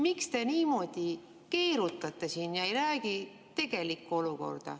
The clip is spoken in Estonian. Miks te siin niimoodi keerutate ja ei räägi, kuidas tegelikult on?